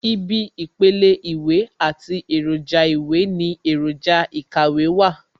Ibi ìpele Ìwé àti èròjà ìwé ní èròjà ikàwé wà